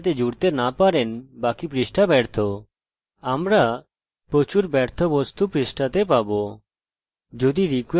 যদি require connect dot php এবং connect dot php এর ভিতরে php mysql ফাংশন শুরু করতে চাই